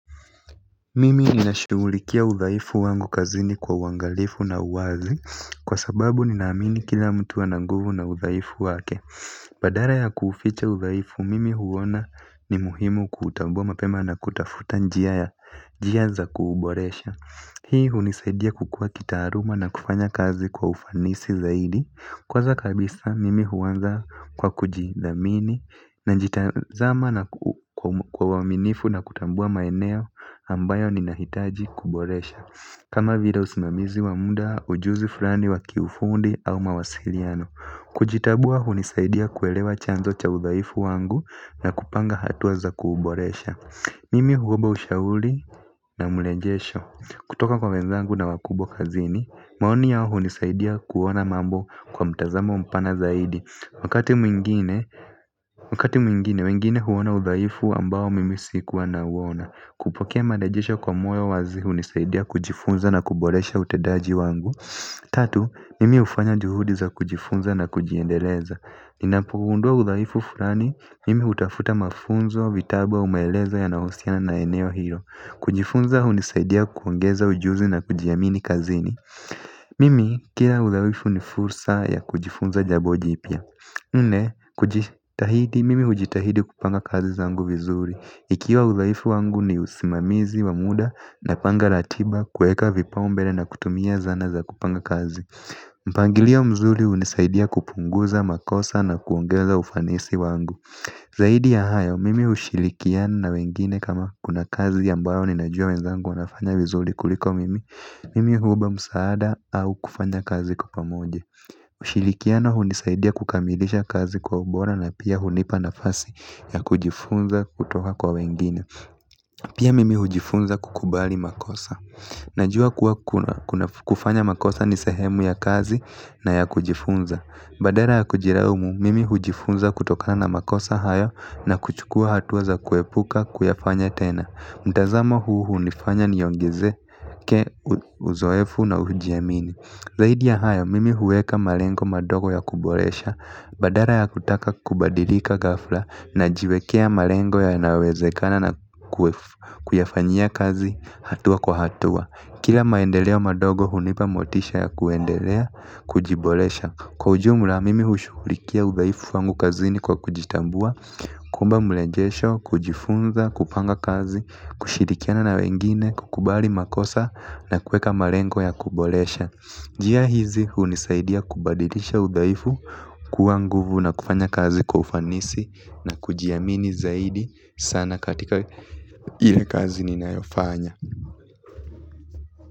Mimi ninashughulikia udhaifu wangu kazini kwa uangalifu na uwazi kwa sababu ninaamini kila mtu ana nguvu na udhaifu wake. Badala ya kuuficha udhaifu mimi huona ni muhimu kuutambua mapema na kutafuta njia za kuuboresha hii hunisaidia kukua kitaaluma na kufanya kazi kwa ufanisi zaidi kwanza kabisa mimi huanza kwa kujidhamini najitazama na kwa uaminifu na kutambua maeneo ambayo ninahitaji kuboresha kama vile usimamizi wa muda ujuzi fulani wa kiufundi au mawasiliano kujitambua hunisaidia kuelewa chanzo cha udhaifu wangu na kupanga hatua za kuuboresha. Mimi huomba ushauri na mrejesho kutoka kwa wenzangu na wakubwa kazini, maoni yao hunisaidia kuona mambo kwa mtazamo mpana zaidi. Wakati mwingine, wengine huona udhaifu ambao mimi sikuwa nauona kupokea marejesho kwa moyo wazi hunisaidia kujifunza na kuboresha utendaji wangu. Tatu, mimi hufanya juhudi za kujifunza na kujiendeleza. Ninapogundua udhaifu fulani, mimi hutafuta mafunzo, vitabu, au maelezo yanayohusiana na eneo hilo. Kujifunza hunisaidia kuongeza ujuzi na kujiamini kazini. Mimi kila udhaifu ni fursa ya kujifunza jambo jipya nne kujitahidi mimi hujitahidi kupanga kazi zangu vizuri ikiwa udhaifu wangu ni usimamizi wa muda napanga ratiba kuweka vipaumbele na kutumia zana za kupanga kazi. Mpangilio mzuri hunisaidia kupunguza makosa na kuongeza ufanisi wangu. Zaidi ya hayo, mimi hushirikiana na wengine kama kuna kazi ambayo ninajua wenzangu wanafanya vizuri kuliko mimi. Mimi huomba msaada au kufanya kazi kwa pamoja. Ushirikiano hunisaidia kukamilisha kazi kwa ubora na pia hunipa nafasi ya kujifunza kutoka kwa wengine. Pia mimi hujifunza kukubali makosa. Najua kuwa kufanya makosa ni sehemu ya kazi na ya kujifunza badala ya kujilaumu mimi hujifunza kutokana na makosa hayo na kuchukua hatua za kuepuka kuyafanya tena mtazamo huu hunifanya niongezeke uzoefu na hujiamini. Zaidi ya hayo mimi huweka malengo madogo ya kuboresha. Badala ya kutaka kubadilika ghafla najiwekea malengo yanayowezekana na kuyafanyia kazi hatua kwa hatua. Kila maendeleo madogo hunipa motisha ya kuendelea kujiboresha. Kwa ujumla mimi hushughulikia udhaifu wangu kazini kwa kujitambua, kuomba mrejesho, kujifunza, kupanga kazi, kushirikiana na wengine, kukubali makosa na kuweka malengo ya kuboresha. Njia hizi hunisaidia kubadilisha udhaifu kuwa nguvu na kufanya kazi kwa ufanisi na kujiamini zaidi sana katika ile kazi ninayofanya.